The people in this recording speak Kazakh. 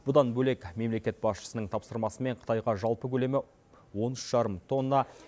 бұдан бөлек мемлекет басшысының тапсырмасымен қытайға жалпы көлемі он үш жарым тонна